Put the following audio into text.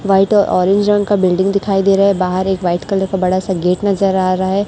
White orange रंग का building दिखाई दे रहा है बाहर एक वाइट कलर का बड़ा सा गेट नजर आ रहा है।